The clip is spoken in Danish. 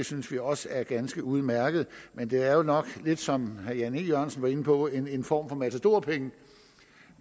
synes vi også er ganske udmærket men det er jo nok lidt som herre jan e jørgensen var inde på en en form for matadorpenge